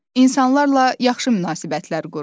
İnsanlarla yaxşı münasibətlər qurun.